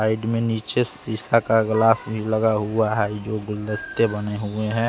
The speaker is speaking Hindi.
साइड में नीचे सिशा का ग्लास भी लगा हुआ है जो गुलदस्ते बने हुए हैं।